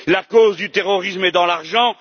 La cause du terrorisme est dans l'argent.